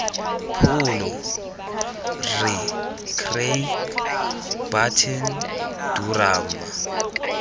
pholo rre craig burton durham